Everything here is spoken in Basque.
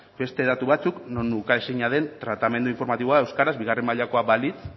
beste datu batzuk non uka ezina den tratamendu informatiboa euskaraz bigarren mailakoa balitz